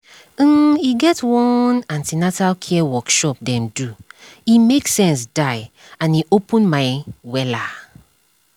um e get one an ten atal care workshop dem do e make sense die and e open my wella